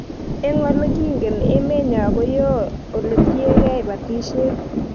Eng' ole kingen emenyo ko yoo ole tiegei batishet